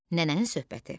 Nənənin söhbəti.